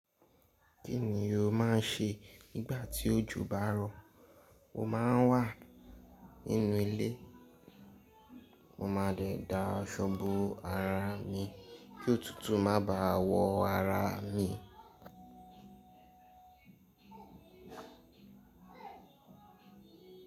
Kí ni o máà ń ṣe nígbà tí òjò bá ń rọ̀? Mo máà ń wà nínú ilé, mo máa dè da aṣọ bo araà mi kí òtútù má báà wọ ara mi.